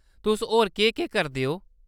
तुस होर केह्-केह् करदे ओ ?